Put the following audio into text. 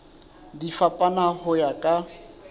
di fapana ho ya ka